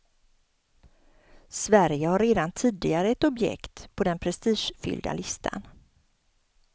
Sverige har redan tidigare ett objekt på den prestigefyllda listan.